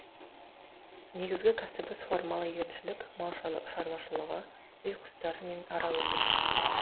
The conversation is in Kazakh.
негізгі кәсібі суармалы егіншілік мал шаруашылығы үй құстары мен ара өсіру